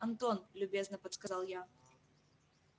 антон любезно подсказал я